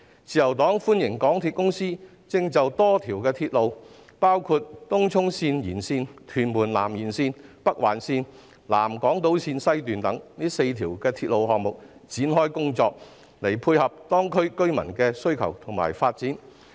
自由黨歡迎港鐵公司就多條鐵路，包括東涌綫延綫、屯門南延綫、北環綫及南港島綫西段4條鐵路的項目展開工作，以配合當區居民的需求及發展。